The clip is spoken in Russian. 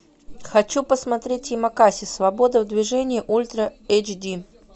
хочу посмотреть ямакаси свобода в движении ультра эйч ди